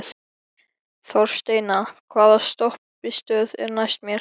Þorsteina, hvaða stoppistöð er næst mér?